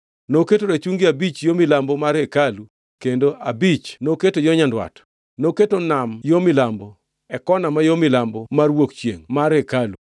Noketo rachungi abich yo milambo mar hekalu kendo abich noketo yo nyandwat. Noketo Nam yo milambo, e kona ma yo milambo mar wuok chiengʼ mar hekalu.